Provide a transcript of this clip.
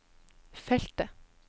feltet